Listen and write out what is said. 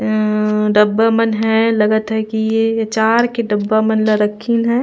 उँ डब्बा मन हैं लगत हे की आचार के डब्बा मन ल रखीन हैं।